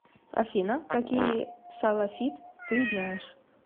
афина какие салафит ты знаешь